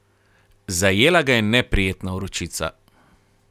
Zajela ga je neprijetna vročica.